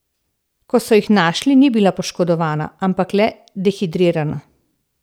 Ko so jo našli ni bila poškodovana, ampak le dehidrirana.